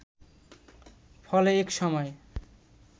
ফলে এক সময়